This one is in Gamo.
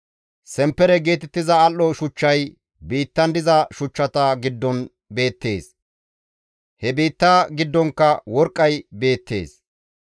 Semppere geetettiza al7o shuchchay biittan diza shuchchata giddon beettees; he biitta giddonkka worqqay beettees.